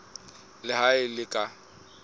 le ha e le ka